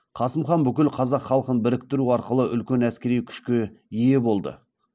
қасым хан бүкіл қазақ халқын біріктіру арқылы үлкен әскери күшке ие болды